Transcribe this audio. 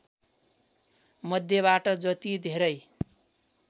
मध्येबाट जति धेरै